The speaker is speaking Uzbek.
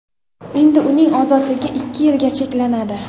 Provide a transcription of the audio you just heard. Endi uning ozodligi ikki yilga cheklanadi.